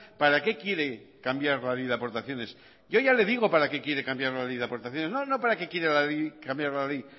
para qué quiere cambiar la ley de aportaciones yo ya le digo para qué quiere cambiar la ley de aportaciones no para qué quiere cambiar la ley